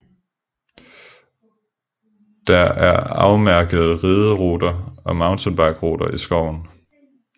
Der er afmærkede rideruter og mountainbikeruter i skoven